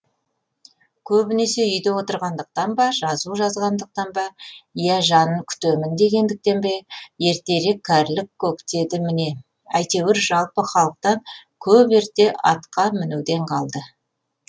көбінесе үйде отырғандықтан ба жазу жазғандықтан ба иә жанын күтемін дегендіктен бе ертерек кәрілік көктеді ме әйтеуір жалпы халықтан көп ерте атқа мінуден қалды